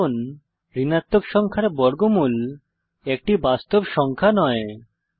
কারণ ঋণাত্মক সংখ্যার বর্গমূল একটি বাস্তব সংখ্যা নয়